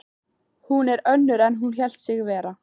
Hún er önnur en hún hélt sig vera.